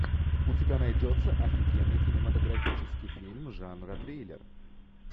у тебя найдется офигенный кинематографический фильм жанра триллер